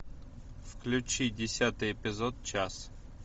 включи десятый эпизод час